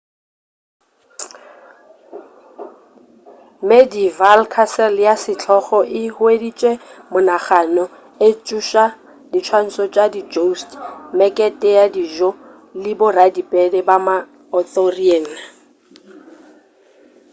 medieval castle ya setlogo e hueditše monagano e tsoša diswantšo tša di jousts mekete ya dijo le boradipere ba ma-arthurian